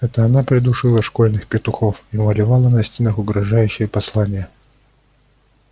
это она передушила школьных петухов и малевала на стенах угрожающие послания